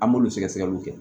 An b'olu sɛgɛ sɛgɛliw kɛ